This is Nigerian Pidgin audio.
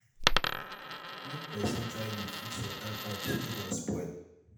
make persin try to de fix water pipes wey don spoil